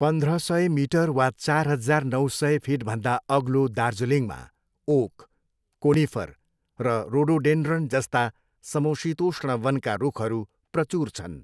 पन्ध्र सय मिटर वा चार हजार नौ सय फिटभन्दा अग्लो दार्जिलिङमा ओक, कोनिफर र रोडोडेन्ड्रन जस्ता समशीतोष्ण वनका रुखहरू प्रचुर छन्।